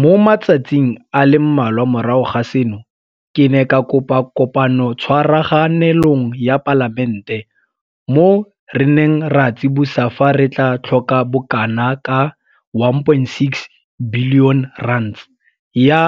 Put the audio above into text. Mo matsatsing a le mmalwa morago ga seno, ke ne ka kopa Kopanotshwaraganelong ya Palamente, mo re neng ra tsibosa fa re tla tlhoka bokanaka R1.6 bilione ya